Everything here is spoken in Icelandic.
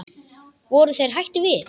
Voru þeir hættir við?